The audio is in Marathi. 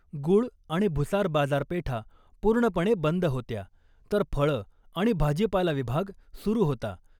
गुळ आणि भुसार बाजारपेठा पूर्णपणे बंद होत्या , तर फळं आणि भाजीपाला विभाग सुरू होता .